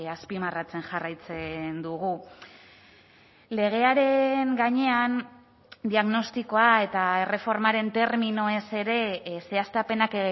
azpimarratzen jarraitzen dugu legearen gainean diagnostikoa eta erreformaren terminoez ere zehaztapenak